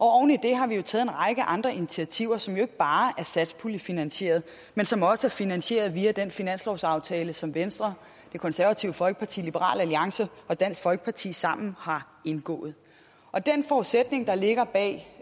oven i det har vi jo taget en række andre initiativer som ikke bare er satspuljefinansieret men som også er finansieret via den finanslovsaftale som venstre det konservative folkeparti liberal alliance og dansk folkeparti sammen har indgået og den forudsætning der ligger bag